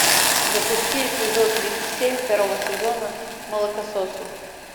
запусти эпизод тридцать семь второго сезона молокососы